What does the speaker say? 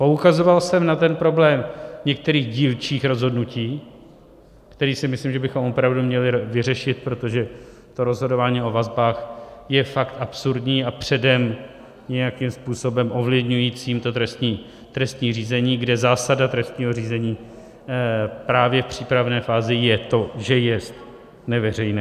Poukazoval jsem na ten problém některých dílčích rozhodnutí, který si myslím, že bychom opravdu měli vyřešit, protože to rozhodování o vazbách je fakt absurdní a předem nějakým způsobem ovlivňující to trestní řízení, kde zásada trestního řízení právě v přípravné fázi je to, že jest neveřejné.